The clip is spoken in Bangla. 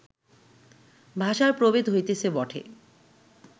ভাষার প্রভেদ হইতেছে বটে